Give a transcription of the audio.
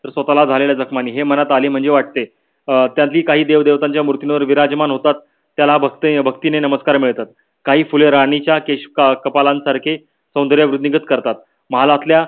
स्वताला झालेल्या जखमाणे हे मनात आले म्हणजे वाटे. अं त्यातील काही देव देवतांच्या मूर्तीवर विराजमान होतात त्याला भक्तीने नमस्कार मिळतात. काही फुले राणीच्या कपाळ सारखे सौन्दर्य वृद्धीगत करतात. महालातल्या